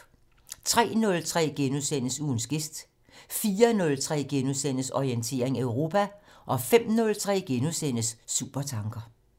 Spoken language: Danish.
03:03: Ugens gæst * 04:03: Orientering Europa * 05:03: Supertanker *